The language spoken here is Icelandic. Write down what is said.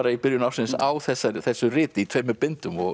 í byrjun ársins á þessu þessu riti í tveimur bindum